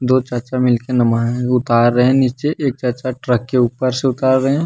दो चाचा मिल के उतार रहे हैं नीचे एक चाचा ट्रक के ऊपर से उतार रहे हैं।